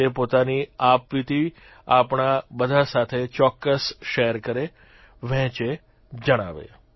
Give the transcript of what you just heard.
તે પોતાની આપવીતી આપણા બધા સાથે ચોક્કસ શેર કરે વહેંચે જણાવે